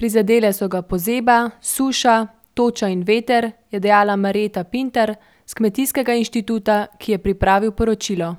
prizadele so ga pozeba, suša, toča in veter, je dejala Marjeta Pintar s kmetijskega inštituta, ki je pripravil poročilo.